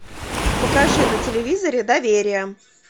покажи на телевизоре доверие